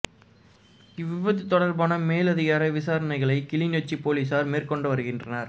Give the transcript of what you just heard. இவ் விபத்து தொடர்பான மேலதிக விசாரணைகளை கிளிநொச்சி பொலிஸார் மேற்கொண்டு வருகின்றார்கள்